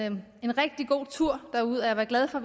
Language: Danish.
en rigtig god tur derud og jeg var glad for